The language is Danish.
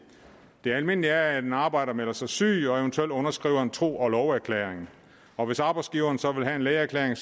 det almindelige er at en arbejder melder sig syg og eventuelt underskriver en tro og love erklæring og hvis arbejdsgiveren så vil have en lægeerklæring